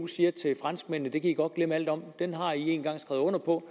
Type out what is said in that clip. sige til franskmændene det kan i godt glemme alt om den har i engang skrevet under på